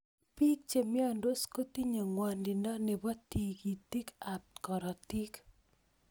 Pik che miondos kotinye ng'wonindo nepo tigitik ab karatik